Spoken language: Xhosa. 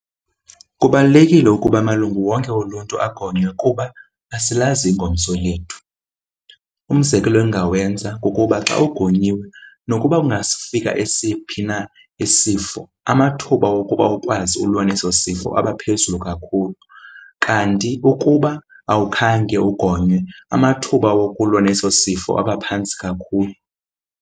Kubalulekile ukuba amalungu wonke oluntu agonywe kuba asilazi ingomso lethu. Umzekelo endingawenza kukuba xa ugonyiwe nokuba kungafika esiphi na isifo, amathuba wokuba ukwazi ulwa neso sifo abaphezulu kakhulu. Kanti ukuba awukhange ugonywe amathuba wokulwa neso sifo abaphantsi kakhulu.